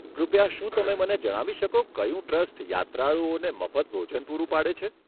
કૃપયા શું તમે મને જણાવી શકો કયું ટ્રસ્ટ યાત્રાળુઓને મફત ભોજન પૂરું પાડે છે?